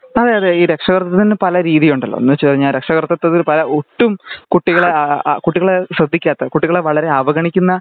അതെ അതെ ഈ രക്ഷാകർത്തതിന് പലരീതി ഉണ്ടല്ലോ എന്നുവച്ചു കഴിഞ്ഞ രക്ഷാകർത്തതിന് പല ഒട്ടും കുട്ടികളെ കുട്ടികളെ ശ്രെദ്ധിക്കാത്ത കുട്ടികളെ വളരെ അവഗണിക്കുന്ന